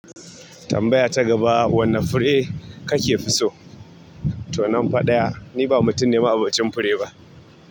Tambaya ta gaba wane fure ka ke fi so? To nan fa ɗaya, ni ba mutum ne ma 'abocin fure ba.